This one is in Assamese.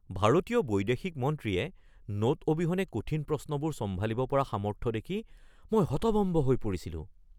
ভাৰতীয় বৈদেশিক মন্ত্ৰীয়ে নোট অবিহনে কঠিন প্ৰশ্নবোৰ চম্ভালিব পৰা সামৰ্থ্য দেখি মই হতভম্ব হৈ পৰিছিলোঁ!